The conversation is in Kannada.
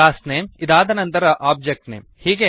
ಕ್ಲಾಸ್ ನೇಮ್ ಇದಾದ ನಂತರ ಒಬ್ಜೆಕ್ಟ್ ನೇಮ್